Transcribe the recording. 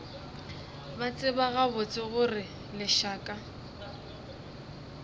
ba tseba gabotse gore lešaka